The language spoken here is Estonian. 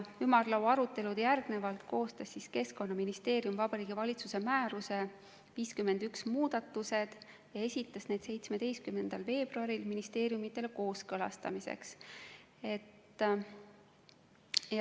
Pärast seda ümarlaua arutelu koostas Keskkonnaministeerium Vabariigi Valitsuse määruse nr 51 muudatused ja esitas need 17. veebruaril ministeeriumidele kooskõlastamiseks.